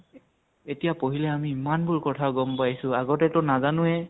এতিয়া পঢ়িলে আমি ইমান বোৰ কথা গʼম পাইছো, আগতেতো নাজানোৱে